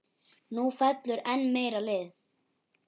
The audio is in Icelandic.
Nú fellur enn meira lið.